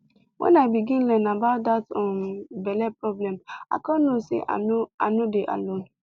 when i begin learn about that um belle problem i come know say i no i no dey alone